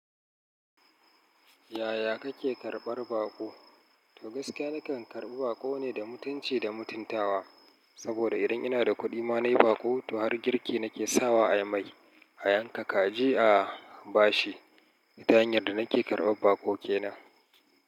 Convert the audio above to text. Yaya kake karɓar baƙo? To gaskiya nakan karɓi baƙo ne da mutunci da mutuntawa. Saboda idan ina da kuɗi ma nai baƙo, to har girki nake sawa a yi mai. A yanka kaji a bashi ta hanyar da nake karɓar baƙo ke nan.